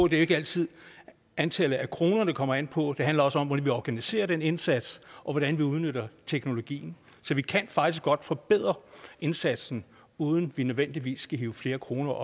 det er ikke altid antallet af kroner det kommer an på det handler også om hvordan vi organiserer den indsats og hvordan vi udnytter teknologien så vi kan faktisk godt forbedre indsatsen uden at vi nødvendigvis skal hive flere kroner